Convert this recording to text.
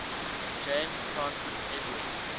james francis edward